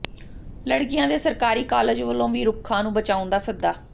ਲੜਕੀਆਂ ਦੇ ਸਰਕਾਰੀ ਕਾਲਜ ਵੱਲੋਂ ਵੀ ਰੁੱਖਾਂ ਨੂੰ ਬਚਾਉਣ ਦਾ ਸੱਦਾ